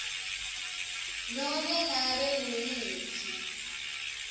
nobe ngabe nguyiphi